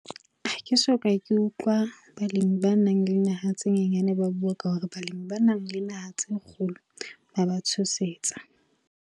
Ha ke so ka ke utlwa balemi ba nang le naha tse nyenyane ba bua ka hore balemi ba nang le naha tse kgolo ba ba tshosetsa.